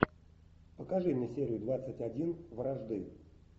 покажи мне серию двадцать один вражды